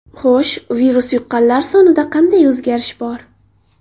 Xo‘sh, virus yuqqanlar sonida qanday o‘zgarish bor.